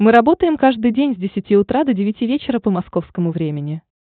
мы работаем каждый день с десяти утра до девяти вечера по московскому времени